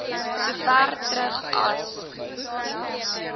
sover terug as